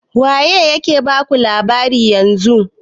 Waye ke baku labarin yanzu?